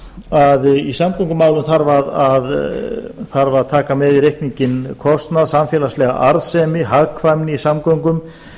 að í samgöngumálum þarf að taka með í reikninginn kostnað samfélagslega arðsemi hagkvæmni í